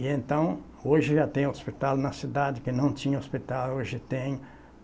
E então, hoje já tem hospital na cidade, que não tinha hospital, hoje tem.